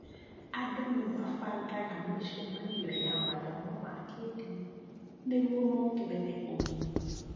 Andũ nĩ mabagaga mĩcemanio ya mathomo ma kĩĩndini nĩguo mongerere ũmenyi.